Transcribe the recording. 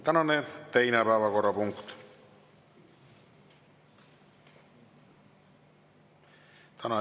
Tänane teine päevakorrapunkt.